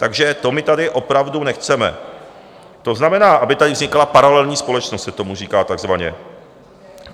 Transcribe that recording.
Takže to my tady opravdu nechceme, to znamená, aby tady vznikala paralelní společnost, se tomu říká takzvaně.